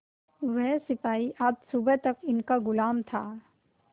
वह सिपाही आज सुबह तक इनका गुलाम था